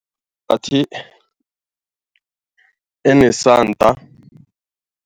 Bathi enesanda.